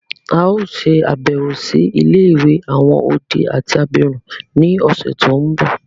A o ṣe àbẹ̀wò si ilé-ìwé àwon odi àti abirún ni ọ̀ṣẹ̀ to nbọ.